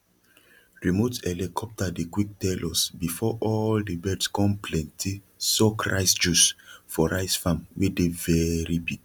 remote helicopter dey quick tell us before all the birds con plenty suck rice juice for rice farm wey dey very big